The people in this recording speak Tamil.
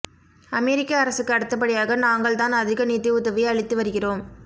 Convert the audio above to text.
அமெரிக்க அரசுக்கு அடுத்தபடியாக நாங்கள்தான் அதிக நிதிஉதவி அளித்து வருகிறோம்